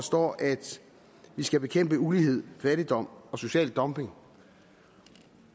står at vi skal bekæmpe ulighed fattigdom og social dumping